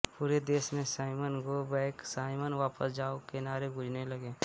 पूरे देश में साइमन गो बैक साइमन वापस जाओ के नारे गूंजने लगे